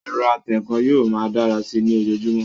Ẹ̀rọ atẹǹkan yóò máa dára sí i ní ojojúmọ́